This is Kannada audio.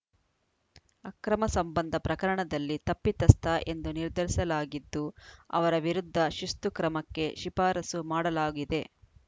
ಅಕ್ರಮ ಸಂಬಂಧ ಪ್ರಕರಣದಲ್ಲಿ ತಪ್ಪಿತಸ್ಥ ಎಂದು ನಿರ್ಧರಿಸಲಾಗಿದ್ದು ಅವರ ವಿರುದ್ಧ ಶಿಸ್ತುಕ್ರಮಕ್ಕೆ ಶಿಫಾರಸು ಮಾಡಲಾಗಿದೆ